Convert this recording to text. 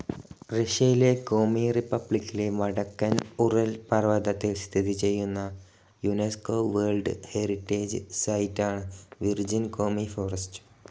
റഷ്യയിലെ കോമി റിപ്പബ്ലിക്കിലെ വടക്കൻ ഉറൽ പർവതത്തിൽ സ്ഥിതി ചെയ്യുന്ന യുനെസ്കോ വേർൽഡ്‌ ഹെറിറ്റേജ്‌ സൈറ്റാണ് വിർജിൻ കോമി ഫോറസ്റ്റ്.